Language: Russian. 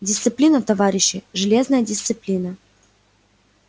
дисциплина товарищи железная дисциплина